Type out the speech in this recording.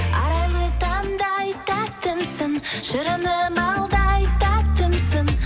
арайлы таңдай тәттімсің шырыны балдай тәттімсің